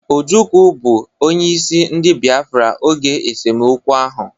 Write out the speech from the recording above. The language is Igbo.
Ojukwu bụ onyeisi ndị biafra oge esemokwu ahụ